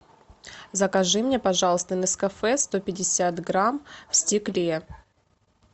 закажи мне пожалуйста нескафе сто пятьдесят грамм в стекле